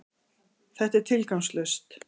Þetta er tilgangslaust!